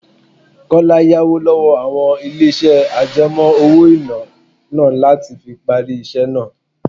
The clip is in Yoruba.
Kọ́lá yá owó lọ́wọ́ àwọn ilé iṣẹ́ àjẹmó-owó-ìná iná láti fi parí iṣẹ́ náà.